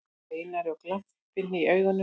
Einari og glampinn í augunum.